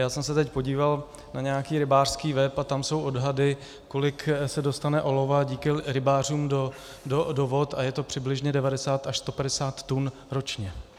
Já jsem se teď podíval na nějaký rybářský web a tam jsou odhady, kolik se dostane olova díky rybářům do vod, a je to přibližně 90 až 150 tun ročně.